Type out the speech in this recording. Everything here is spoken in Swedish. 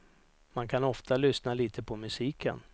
Man kan ofta lyssna lite på musiken.